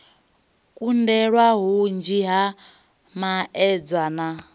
kundelwa hunzhi ha maedza a